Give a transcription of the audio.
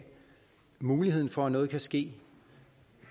mulighed for at noget kan ske